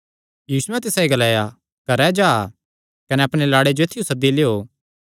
यीशुयैं तिसायो ग्लाया घरैं जा कने अपणे लाड़े जो ऐत्थियो सद्दी लियो